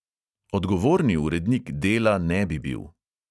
Odgovorni urednik dela ne bi bil.